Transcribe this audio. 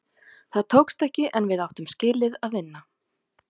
Það tókst ekki, en við áttum skilið að vinna.